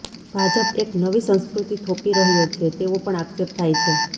ભાજપ એક નવી સંસ્કૃતિ થોપી રહ્યો છે તેવો પણ આક્ષેપ થાય છે